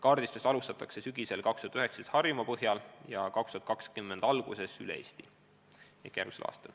Kaardistust alustatakse tänavu sügisel Harjumaast ja 2020. aasta alguses hõlmatakse kogu Eesti.